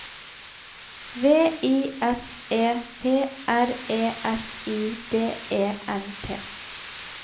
V I S E P R E S I D E N T